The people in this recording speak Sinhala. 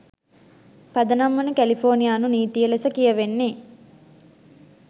පදනම් වන කැලිෆෝනියානු නීතිය ලෙස කියවෙන්නේ